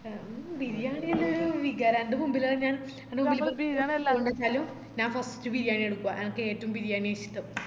മ് ബിരിയാണിയെല്ലാം ഒര് വികാര എൻ്റെ മുമ്പിലാന്നെ ഞാൻ ഞാൻ first ബിരിയാണിയാ എടുക്കുആ എനക്കേറ്റം ബിരിയാണിയാ ഇഷ്ട്ടം